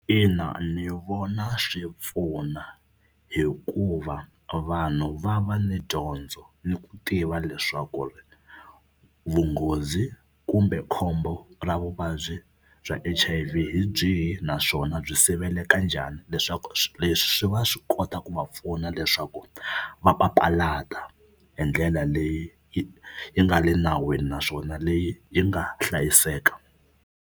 Ina ni vona swi pfuna hikuva vanhu va va ni dyondzo ni ku tiva leswaku ri vunghozi kumbe khombo ra vuvabyi bya H_I_V hi byihi naswona byi siveleka njhani leswaku leswi swi va swi kota ku va pfuna leswaku va papalata hi ndlela leyi yi yi nga le nawini naswona leyi yi nga hlayiseka.